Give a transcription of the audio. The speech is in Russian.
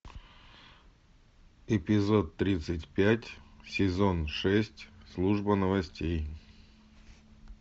эпизод тридцать пять сезон шесть служба новостей